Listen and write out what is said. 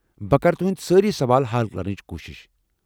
بہٕ کرٕ تُہندۍ سٲری سوال حل كرنٕچ كوٗشِش ۔